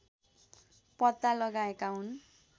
पत्ता लगाएका हुन्